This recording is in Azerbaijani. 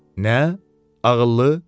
Nə, ağıllı?